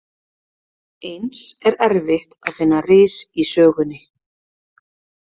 Eins er erfitt að finna ris í sögunni.